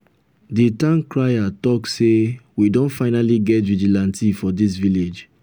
the town crier talk say we don finally get vigilante for dis village